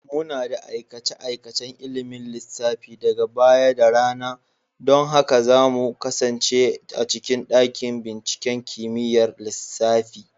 Muna da aikace-aikacen ilimin lissafi daga baya da rana. Don haka za mu kasance a cikin dakin binciken kimiyyar lissafi.